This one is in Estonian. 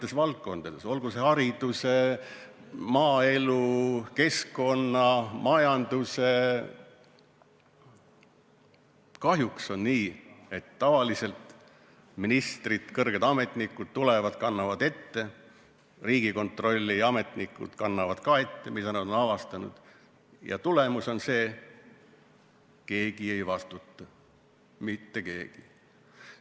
Eri valdkondades, olgu see haridus, maaelu, keskkond, majandus, on kahjuks nii, et tavaliselt ministrid, kõrged ametnikud tulevad, kannavad ette, Riigikontrolli ametnikud kannavad ka ette, mida nad on avastanud, ja tulemus on see, et keegi ei vastuta, mitte keegi.